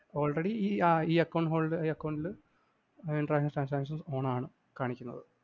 already ഈ account holder ഈ account ല്‍ international transactions on ആണ്കാണിക്കുന്നത്.